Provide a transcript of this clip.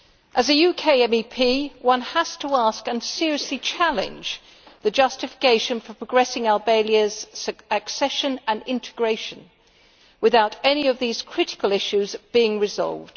As a UK MEP, one has to ask about and seriously challenge the justification for progressing Albania's accession and integration without any of these critical issues being resolved.